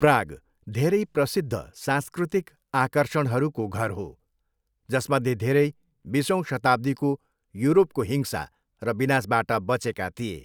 Prague धेरै प्रसिद्ध सांस्कृतिक आकर्षणहरूको घर हो, जसमध्ये धेरै बिसौँ शताब्दीको युरोपको हिंसा र विनाशबाट बचेका थिए।